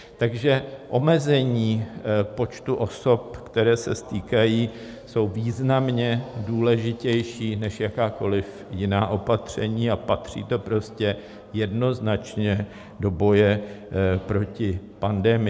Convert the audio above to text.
Takže omezení počtu osob, které se stýkají, je významně důležitější než jakákoliv jiná opatření a patří to prostě jednoznačně do boje proti pandemii.